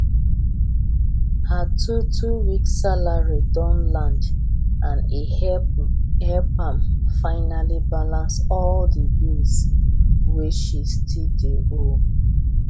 her twotwo weeks salary don land and e help am finally balance all the bills wey she still dey owe